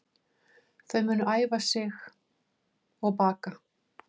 Þau munu æfa sig og baka